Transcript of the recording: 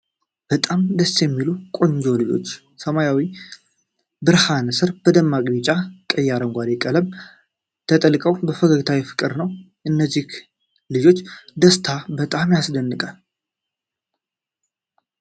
በጣም ደስ የሚሉና ቆንጆ ልጆች! በሰማያዊ ብርሃን ስር በደማቅ ቢጫ፣ ቀይና አረንጓዴ ቀለም ተጠቅልለው ፈገግታቸው የፍቅር ነው! የእነዚህ ልጆች ደስታ በጣም ያስደንቃል!